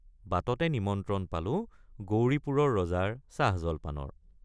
বাটতে নিমন্ত্ৰণ পালো গৌৰীপুৰৰ ৰজাৰ চাহজলপানৰ।